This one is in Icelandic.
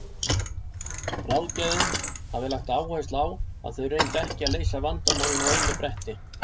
Ráðgjafinn hafði lagt áherslu á að þau reyndu ekki að leysa vandamálin á einu bretti.